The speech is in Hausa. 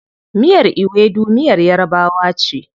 Miyar Ewedu miyar yarabawa ce.